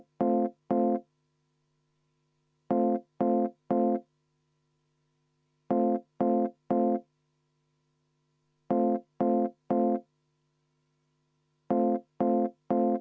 Aitäh, austatud Riigikogu esimees!